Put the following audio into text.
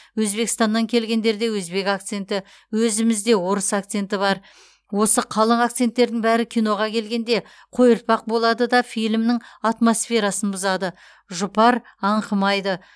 өзбекстаннан келгендерде өзбек акценті өзімізде орыс акценті бар осы қалың акценттердің бәрі киноға келгенде қойыртпақ болады да фильмнің атмосферасын бұзады жұпар аңқымайды